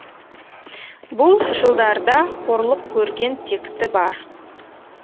бұл жылдарда қорлық көрген текті бар